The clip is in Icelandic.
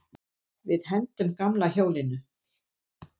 Við hendum gamla hjólinu.